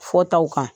Fɔ taw kan